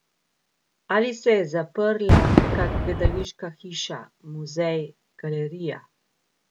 Ali se je zaprla kak gledališka hiša, muzej, galerija?